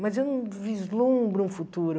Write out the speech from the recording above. Mas eu não vislumbro um futuro.